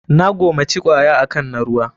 Na gomaci kwaya akan na ruwa.